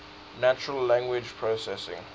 natural language processing